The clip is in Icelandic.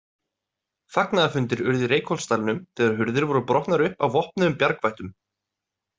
Fagnaðarfundir urðu í Reykholtsdalnum þegar hurðir voru brotnar upp af vopnuðum bjargvættum.